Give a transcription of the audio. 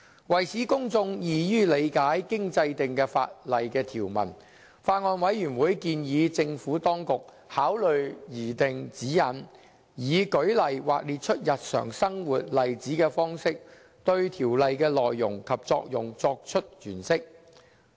為使公眾易於理解經制定的法例條文，法案委員會建議政府當局考慮擬訂指引，以舉例或列出日常生活例子的方式，對條例的內容及作用作出詮釋。